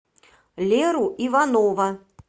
леру иванова